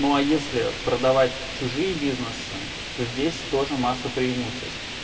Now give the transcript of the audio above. ну а если продавать чужие бизнесы то здесь тоже масса преимуществ